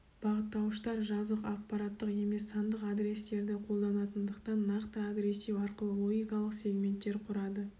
бағыттауыштар жазық аппараттық емес сандық адрестерді қолданатындықтан нақты адрестеу арқылы логикалық сег-менттер құрады